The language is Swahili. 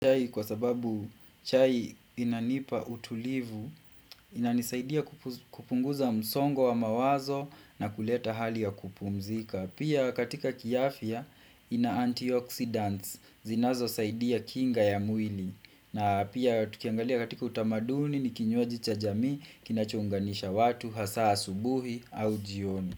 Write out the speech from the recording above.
Chai kwa sababu chai inanipa utulivu, inanisaidia kupunguza msongo wa mawazo na kuleta hali ya kupumzika. Pia katika kiafya ina antioxidants, zinazosaidia kinga ya mwili. Na pia tukiangalia katika utamaduni ni kinywaji cha jamii, kinacho unganisha watu, hasa asubuhi au jioni.